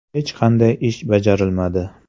Hech qanday ish bajarilmadi.